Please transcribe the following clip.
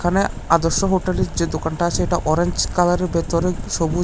এখানে আদর্শ হোটেলের যে দোকানটা আছে সেটা অরেঞ্জ কালারের ভেতরে সবুজ--